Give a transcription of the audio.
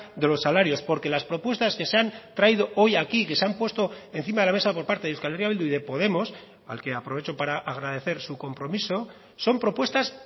de los salarios porque las propuestas que se han traído hoy aquí que se han puesto encima de la mesa por parte de euskal herria bildu y de podemos al que aprovecho para agradecer su compromiso son propuestas